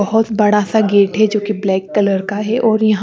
बहुत बड़ा सा गेट है जोकि ब्लैक कलर का है और यहाँ--